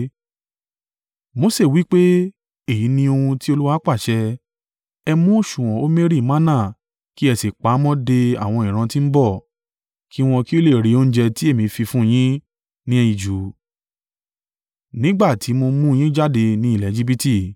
Mose wí pé, “Èyí ni ohun tí Olúwa pàṣẹ, ‘Ẹ mú òsùwọ̀n omeri manna kí ẹ sì pa á mọ́ de àwọn ìran ti ń bọ̀, kí wọn kí ó lè rí oúnjẹ ti èmi fi fún un yín jẹ ní ijù, nígbà tí mo mú un yín jáde ni ilẹ̀ Ejibiti.’ ”